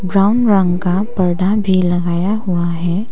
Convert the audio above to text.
Brown रंग का पर्दा भी लगाया हुआ है।